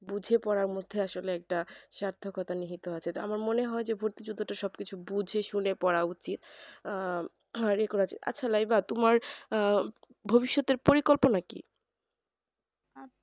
বুঝে পড়ার মধ্যে আসলে একটা সাধ্যকতা নিহিত আছে আমার মনে হয় যে ভর্তি যুদ্ধটা সব কিছু বুঝে শুনে পড়া উচিত আহ আচ্ছা লাইবা তোমার ভবিৎষ্যতের পরিকল্পনা কি